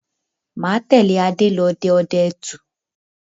Máa tẹ̀lé Adé lọ dẹ ọdẹ ẹtù